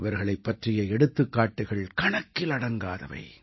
இவர்களைப் பற்றிய எடுத்துக்காட்டுக்கள் கணக்கிலடங்காதவை